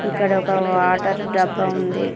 ఇక్కడ ఒక వాటర్ డబ్బా ఉంది.